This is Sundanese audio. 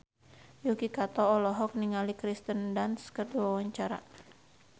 Yuki Kato olohok ningali Kirsten Dunst keur diwawancara